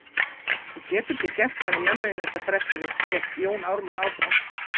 Þú getur ekki gert henni mömmu þinni þetta fressið þitt, hélt Jón Ármann áfram.